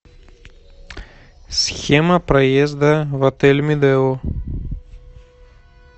схема проезда в отель медео